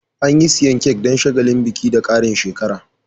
Anyi siyan Kek Dan shagalin biki da Karin shekara